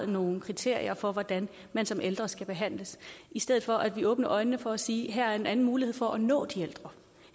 nogle kriterier for hvordan man som ældre skal behandles i stedet for at vi åbner øjnene og siger at en anden mulighed for at nå de ældre